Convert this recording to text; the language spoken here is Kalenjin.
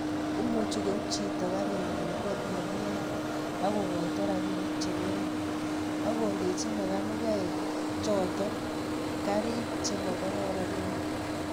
Imuchi koib chito garinyi kei Ole kiyoe akokoito robinik che ngering akondochi mekanikaek choto garik che mokororonen